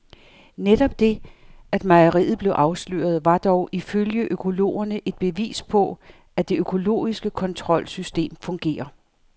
Netop det, at mejeriet blev afsløret, var dog ifølge økologerne et bevis på, at det økologiske kontrolsystem fungerer.